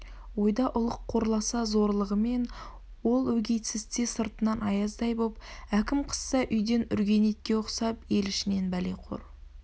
ойда ұлық қорласа зорлығымен ол өгейсітсе сыртынан аяздай боп әкім қысса үйден үрген итке ұқсап ел ішінен бәлеқор